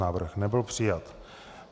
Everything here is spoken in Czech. Návrh nebyl přijat.